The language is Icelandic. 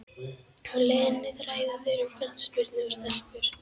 Á leiðinni ræða þeir um knattspyrnu og stelpur.